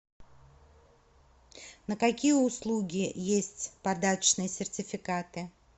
на какие услуги есть подарочные сертификаты